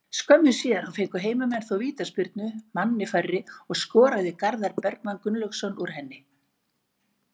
Skömmu síðar fengu heimamenn þó vítaspyrnu, manni færri, og skoraði Garðar Bergmann Gunnlaugsson úr henni.